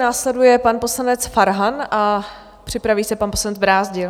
Následuje pan poslanec Farhan a připraví se pan poslanec Brázdil.